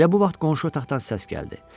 Elə bu vaxt qonşu otaqdan səs gəldi.